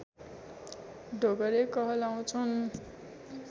डोगरे कहलाउँछन्